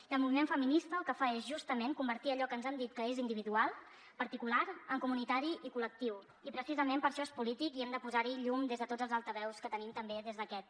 i el moviment feminista el que fa és justament convertir allò que ens han dit que és individual particular en comunitari i col·lectiu i precisament per això és polític i hem de posar hi llum des de tots els altaveus que tenim també des d’aquest